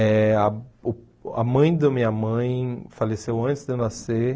Eh ah uh a mãe da minha mãe faleceu antes de eu nascer.